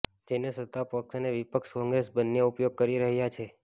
જેને સત્તા પક્ષ અને વિપક્ષ કોંગ્રેસ બંને ઉપયોગ કરી રહ્યા છે